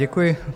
Děkuji.